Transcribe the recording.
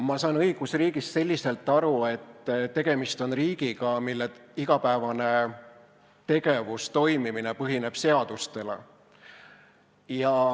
Ma saan õigusriigist aru selliselt, et tegemist on riigiga, mille igapäevane tegevus ja toimimine põhineb seadustel.